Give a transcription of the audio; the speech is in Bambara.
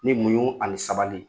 Ni munu ani sabali